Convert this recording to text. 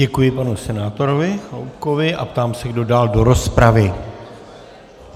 Děkuji panu senátorovi Chaloupkovi a ptám se, kdo dál do rozpravy.